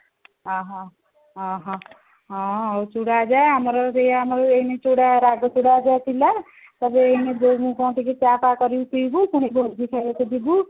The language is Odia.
ଅହହୋ ଅହହୋ ହଁ ଆଉ ଚୁଡା ଭଜା ଆଁ ଆମର ସେଇ ଏଇନେ ଚୁଡା ଭଜା ଚୁଡା ଭଜା ଥିଲା ତାକୁ ଏଇନେ ବୋଉଙ୍କୁ କଣ ଟିକେ ଚା ଫା କରିକି ପିଇବୁ ପୁଣି ଭୋଜି ଖାଇବାକୁ ଯିବୁ